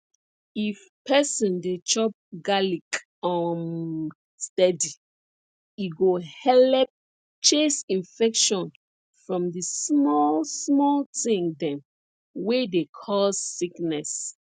if person dey chop garlic um steady e go helep chase infection from di small small thing dem wey dey cause sickness